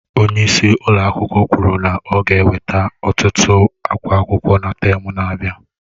Onye isi ụlọ akwụkwọ kwuru na ọ ga-eweta ọtụtụ akwa akwụkwọ na tem na-abịa